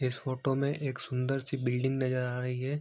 इस फोटो में एक सुंदर-सी बिल्डिंग नजर आ रही है।